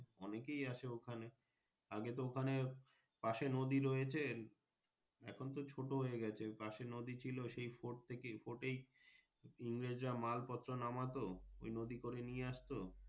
অনেকেই আছে ওখানে আগে তো এখানে পাশে নদী রয়েছে এখন তো ছোট হয়ে গাছে পাশে যদি ছিল সেই fort থেকেই fort এই ইংরেজরা মাল পত্র মানাতো ওই নদি করে নিয়ে আসতো।